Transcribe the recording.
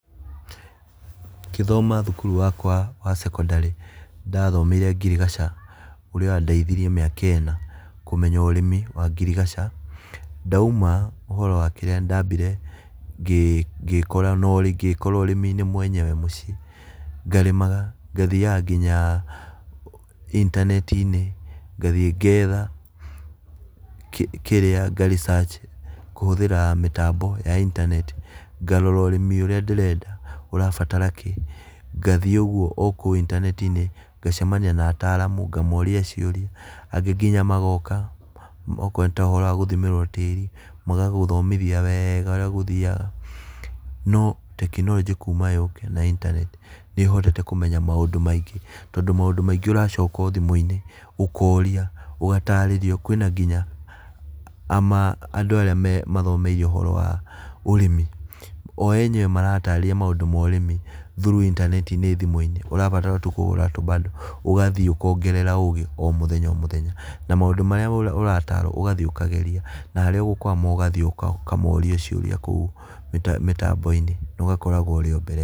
Ngĩthoma cukuru wakwa wa cekondarĩ ndathomeire ngirigaca, ũrĩa wandeithirie mĩaka ĩna, kũmenya ũrĩmi wa ngirigaca. Ndauma ũhoro wa kĩrĩa nĩ ndambire ngĩ ngĩkora na ũrĩmi-inĩ mwenyewe mũciĩ ngarĩmaga ngathiaga nginya intaneti-inĩ, ngathiĩ ngetha kirĩa nga research kũhũthĩra mĩtambo ya intaneti ngarora ũrĩmi ũrĩa ndĩrenda ũrabatara kĩi, ngathiĩ ũguo o kũu intaneti-inĩ ngacemania na ataramu ngamoria ciũria, angĩ nginya magoka. Okorwo nginya nĩ ta ũhoro wa gũthimĩrwo tĩri, magagũthomithia wega ũrĩa gũthiaga. No tekinoronjĩ kuma yũke na intaneti nĩ hotete kũmenya maũndũ maingĩ, tondũ maũndũ maingĩ ũracoka o thimũ-inĩ, ũkoria ũgatarĩrrio kwĩna nginya, andũ arĩa mathomeire ũhoro wa ũrĩmi. O enyewe maratarĩria maũndũ ma ũrĩmi through intaneti-inĩ thimũ-inĩ ũrabatara tu kũgũra tũbando ũgathiĩ ũkongerera ũgĩ o mũthenya o mũthenya na maũndũ marĩa ũratarwo ũgathiĩ ũkageria, na harĩa ũgũkwama ũgathiĩ ũka ũkamoria ciũria kũu mĩta mĩtambo-inĩ na ũgakoragwo ũrĩ o mbere.